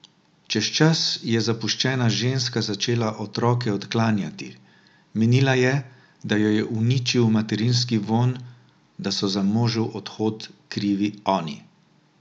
Čez čas je zapuščena ženska začela otroke odklanjati, menila je, da jo je uničil materinski vonj, da so za možev odhod krivi oni.